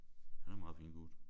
Han er en meget fin gut